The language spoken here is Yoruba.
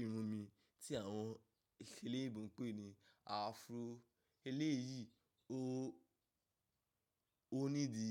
irun mi tí àwọn èṣèlẹ́ ìbùkún pè ní afro. Eléyìí o ní di